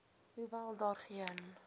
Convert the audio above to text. hoewel daar geen